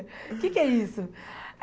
O que é que é isso?